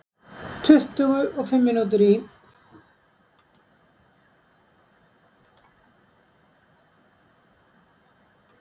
Tuttugu og fimm mínútur í